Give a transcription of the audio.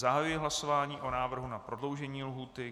Zahajuji hlasování o návrhu na prodloužení lhůty.